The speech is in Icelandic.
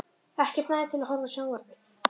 Ekkert næði til að horfa á sjónvarpið.